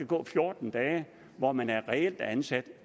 gå fjorten dage hvor man er reelt ansat